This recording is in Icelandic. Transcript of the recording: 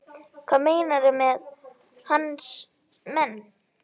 Hvað meinarðu með hans menn?